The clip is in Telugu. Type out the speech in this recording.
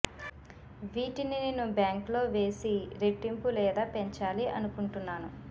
వీటిని నేను బ్యాంకు లో వేసి రెట్టింపు లేదా పెంచాలి అనుకుంటున్నాను